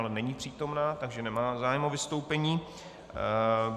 Ale není přítomna, takže nemá zájem o vystoupení.